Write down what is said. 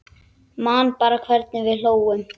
Man bara hvernig við hlógum.